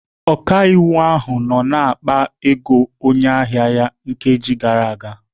Ọkaiwu ahụ nọ na-akpa ego onye ahịa ya nkeji nkeji gara aga.